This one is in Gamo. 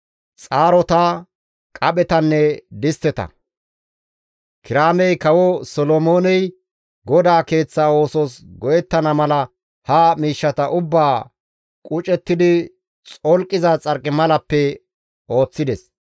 xaarota, qaphetanne distteta. Kiraamey Kawo Solomooney GODAA Keeththa oosos go7ettana mala ha miishshata ubbaa qucettidi xolqiza Xarqimalappe ooththides.